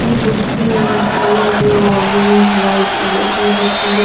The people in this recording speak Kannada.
ಈ ಬಸ್ಸಿನ ಕಲರ್ ಆರೆಂಜ್ ವೈಟ್ ಇದೆ ಈ ಬಸ್ಸಲ್ಲಿ --